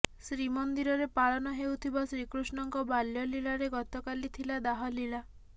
ଶ୍ରୀମନ୍ଦିରରେ ପାଳନ ହେଉଥିବା ଶ୍ରୀକୃଷ୍ଣଙ୍କ ବାଲ୍ୟଲୀଳାରେ ଗତକାଲି ଥିଲା ଦାହଲୀଳା